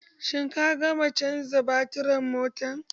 Shin ka gama caja baturin motar?